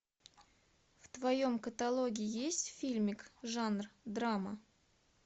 в твоем каталоге есть фильмик жанр драма